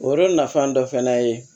O yɔrɔ nafɔ fana ye